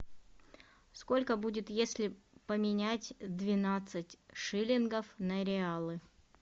сколько будет если поменять двенадцать шиллингов на реалы